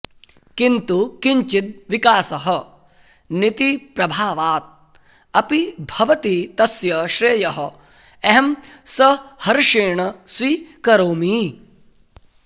किन्तु किञ्चित् विकासः नितिप्रभावात् अपि भवति तस्य श्रेयः अहं सहर्षेण स्वीकरोमि